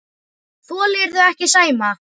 Þolirðu ekki Sæma?